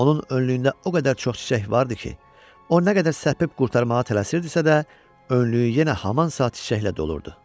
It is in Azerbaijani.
Onun önlüyündə o qədər çox çiçək vardı ki, o nə qədər səpib qurtarmağa tələsirdisə də, önlüyü yenə həman saat çiçəklə dolurdu.